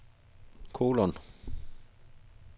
kolon